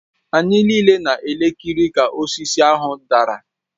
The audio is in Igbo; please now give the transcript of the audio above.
Anyị niile na-ekiri ka osisi ahụ dara